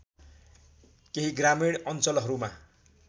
केही ग्रामीण अञ्चलहरूमा